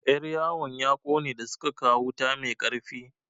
Yar yawon ya ƙone da suka kawo wuta mai ƙarfi.